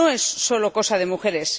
No es solo cosa de mujeres.